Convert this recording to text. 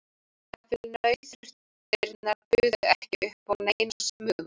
Jafnvel nauðþurftirnar buðu ekki upp á neina smugu.